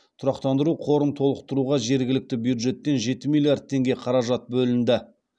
тұрақтандыру қорын толықтыруға жергілікті бюджеттен жеті миллиард теңге қаражат бөлінді